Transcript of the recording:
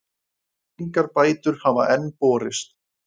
Engar bætur hafa enn borist.